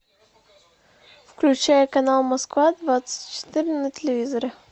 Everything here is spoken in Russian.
включай канал москва двадцать четыре на телевизоре